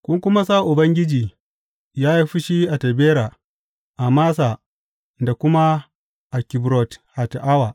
Kun kuma sa Ubangiji ya yi fushi a Tabera, a Massa da kuma a Kibrot Hatta’awa.